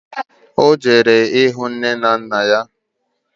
Ọ jere ịhụ nne na nna ya